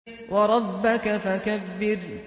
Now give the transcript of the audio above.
وَرَبَّكَ فَكَبِّرْ